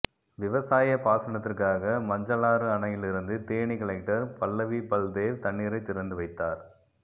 விவசாய பாசனத்திற்காக மஞ்சாளாறு அணையிலிருந்து தேனி கலெக்டர் பல்லவிபல்தேவ் தண்ணீரை திறந்து வைத்தார்